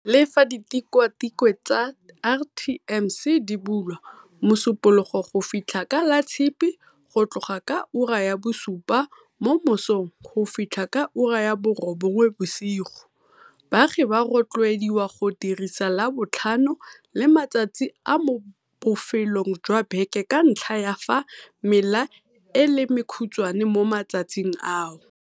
Le fa ditikwatikwe tsa RTMC di bulwa Mosupo logo go fitlha ka Latshipi go tloga ka ura ya bosupa mo mosong go fitlha ka ura ya borobongwe bosigo, baagi ba rotloediwa go dirisa Labotlhano le matsatsi a mo bofelong jwa beke ka ntlha ya fa mela e le mekhutshwane mo matsatsing ao.